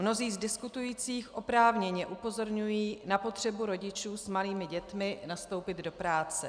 Mnozí z diskutujících oprávněně upozorňují na potřebu rodičů s malými dětmi nastoupit do práce.